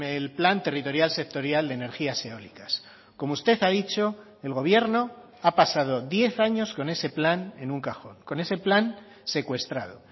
el plan territorial sectorial de energías eólicas como usted ha dicho el gobierno ha pasado diez años con ese plan en un cajón con ese plan secuestrado